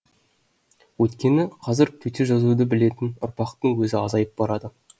өйткені қазір төте жазуды білетін ұрпақтың өзі азайып барады